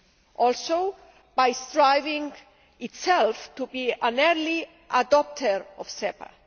And, also, by striving itself to be an early adopter of SEPA.